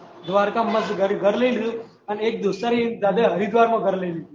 દ્વારકા માં મસ્ત ઘર લઇ લીધું અને એક દોસ્ત ને જાતે હરિદ્વાર માં ઘર લઇ લીધું